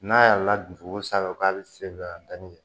N'a yɛlɛla duku sanfɛ k'a bi se ka da ni